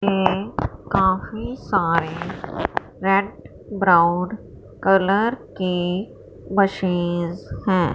ये काफी सारे रेड ब्राउन कलर की मशीन्स हैं।